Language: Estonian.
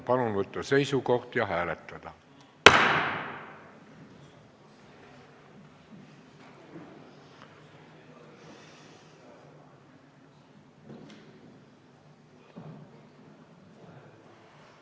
Palun võtta seisukoht ja hääletada!